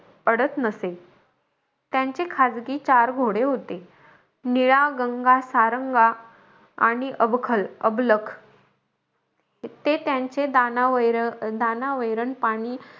अडत नसेल. त्यांचे खासगी चार घोडे होते. निळा, गंगा, सारंगा आणि अवखल अबलख. ते त्यांचे दाना वैर दाना वैरण पाणी,